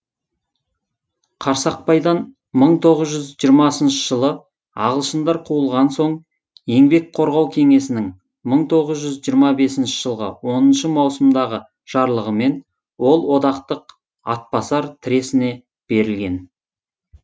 қарсақпайдан мың тоғыз жүз жиырмасыншы жылы ағылшындар қуылған соң еңбек қорғау кеңесінің мың тоғыз жүз жиырма бесінші жылғы оныншы маусымдағы жарлығымен ол одақтық атбасар тресіне берілген